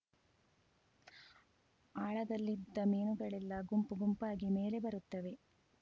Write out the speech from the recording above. ಆಳದಲ್ಲಿದ್ದ ಮೀನುಗಳೆಲ್ಲ ಗುಂಪು ಗುಂಪಾಗಿ ಮೇಲೆ ಬರುತ್ತವೆ